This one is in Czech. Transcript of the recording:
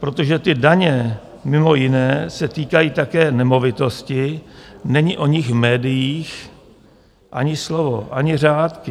Protože ty daně mimo jiné se týkají také nemovitosti, není o nich v médiích ani slovo, ani řádky.